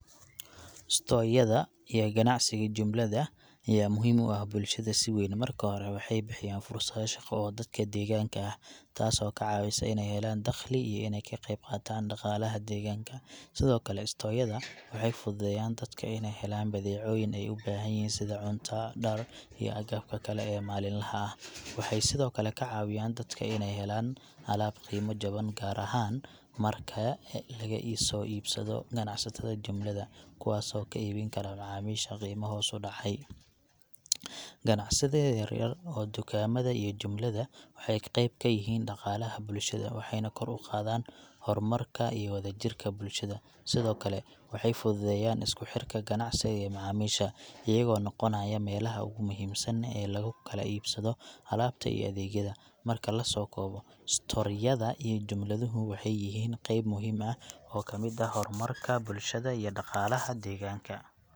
Store yada iyo ganacsiga jumlada ayaa muhiim u ah bulshada si weyn. Marka hore, waxay bixiyaan fursado shaqo oo dadka deegaanka ah, taasoo ka caawisa in ay helaan dakhli iyo inay ka qayb qaataan dhaqaalaha deegaanka. Sidoo kale, store yada waxay fududeeyaan dadka inay helaan badeecooyin ay u baahan yihiin sida cunto, dhar, iyo agabka kale ee maalinlaha ah. Waxay sidoo kale ka caawiyaan dadka inay helaan alaab qiimo jaban, gaar ahaan marka laga soo iibsado ganacsatada jumlada, kuwaas oo ka iibin kara macaamiisha qiimo hoos u dhacay. Ganacsiyada yaryar oo dukaamada iyo jumlada waxay qayb ka yihiin dhaqaalaha bulshada, waxayna kor u qaadaan horumarka iyo wadajirka bulshada. Sidoo kale, waxay fududeeyaan isku xirka ganacsiga iyo macaamiisha, iyagoo noqonaya meelaha ugu muhiimsan ee lagu kala iibsado alaabta iyo adeegyada. Marka la soo koobo, store yada iyo jumladuhu waxay yihiin qeyb muhiim ah oo ka mid ah horumarka bulshada iyo dhaqaalaha deegaanka.